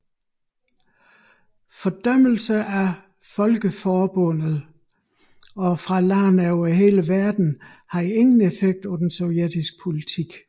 Fordømmelser fra Folkeforbundet og fra lande over hele verden havde ingen effekt på den sovjetiske politik